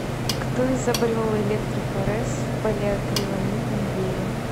кто изобрел электрофорез в полиакриламидном геле